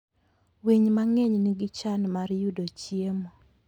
Winy mang'eny nigi chan mar yudo chiemo.